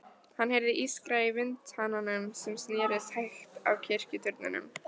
Hann heyrði ískra í vindhananum sem snerist hægt á kirkjuturninum.